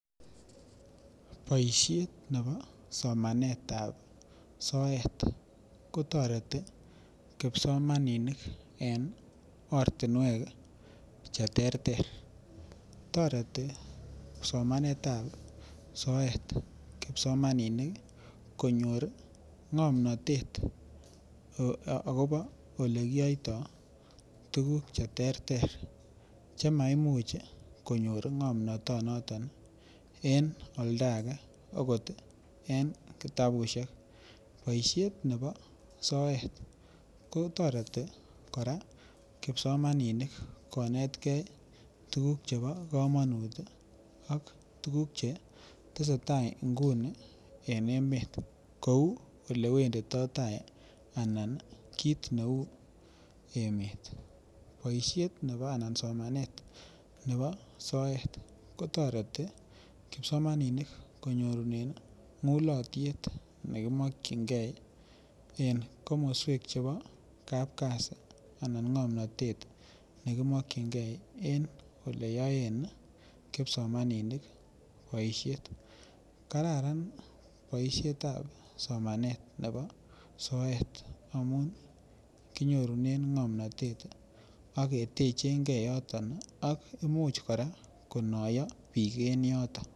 Boisiet ab somanet ab soet kotoreti kipsomaninik en ortinwek Che terter toreti somanet ab soet kipsomaninik konyor ii ngomnatet agobo Ole kiyoito tuguk Che terter Che maimuch konyor ngomnatonoton en oldo age okot en kitabusiek boisiet nebo soet kotoreti kora kipsomaninik konetgei tuguk chebo kamanut ak tuguk Che tesetai nguni kou Ole wenditoi tai emet anan kit neu emet Boisiet nebo anan somanet nebo soet kotoreti kipsomaninik konyorune ngulotiet nekimokyingei en komoswek chebo kap kazi anan ngomnatet ne ki mokyingei en Ole yoen kipsomaninik boisiet kararan boisiet ab somanet nebo soet amun kinyorunen ngomnatet ak ketechengei yoton ak Imuch kora konoyo bik en yoton